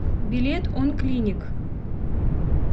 билет он клиник